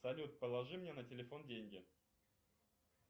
салют положи мне на телефон деньги